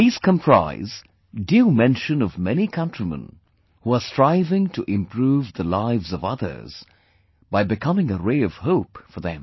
These comprise due mention of many countrymen who are striving to improve the lives of others by becoming a ray of hope for them